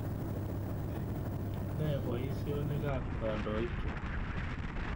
Ne poisyonik ap kandoik chu?